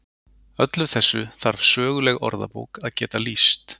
Öllu þessu þarf söguleg orðabók að geta lýst.